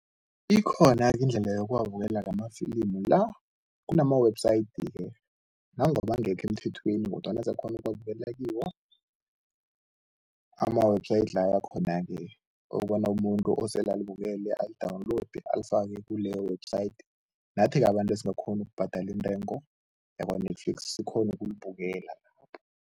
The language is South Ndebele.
Ikhona-ke indlela yokuwabukela-ke amafilimu la. Kunama-website ke, nonoma angekho emthethweni kodwana siyakhona ukuwabukela kiwo ama-website lawa akhona-ke okobana umuntu osele alibukele ali-download, alifake kuleyo website, nathi-ke abantu esingakghoni ukubhadala intengo yakwa-Netflix sikghone ukulibukela lapho.